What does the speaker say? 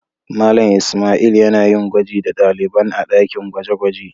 Mallam lsmaila yana yin gwaji da dalibain a dakin gwaje-gwaje.